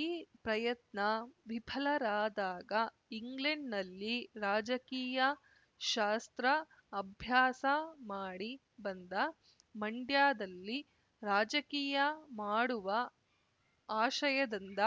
ಈ ಪ್ರಯತ್ನ ವಿಫಲರಾದಾಗ ಇಂಗ್ಲೆಂಡ್‌ನಲ್ಲಿ ರಾಜಕೀಯ ಶಾಸ್ತ್ರ ಅಭ್ಯಾಸ ಮಾಡಿ ಬಂದ ಮಂಡ್ಯದಲ್ಲಿ ರಾಜಕೀಯ ಮಾಡುವ ಆಶಯದಿಂದ